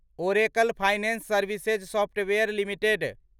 Oracle finance services software limited